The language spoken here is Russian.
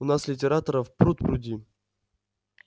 у нас литераторов пруд-пруди